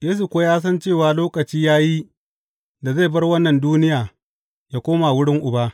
Yesu kuwa ya san cewa lokaci ya yi da zai bar wannan duniya, yă koma wurin Uba.